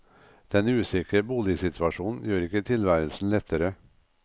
Den usikre boligsituasjonen gjør ikke tilværelsen lettere.